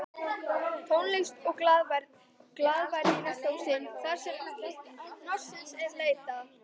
Tónlist og glaðværð í næsta húsi þarsem hnossins er leitað